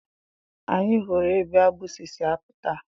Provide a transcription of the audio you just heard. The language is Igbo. Anyị hụrụ ebe agbụsị si apụta.